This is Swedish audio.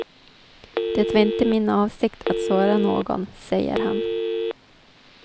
Det var inte min avsikt att såra någon, säger han.